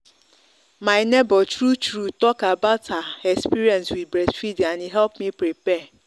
my neighbor true true talk about her experience with breast feeding and e help me prepare.